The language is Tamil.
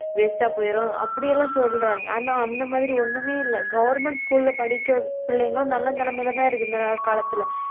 waste ஆ போயிரும். அப்படி எல்லாம் சொல்றாங்க. ஆனா அந்த மாதிரி ஒண்ணுமே இல்லை. government school ல படிக்கிற பிள்ளைங்களும் நல்ல நிலைமையிலேதான் இருக்கு இந்த காலத்திலே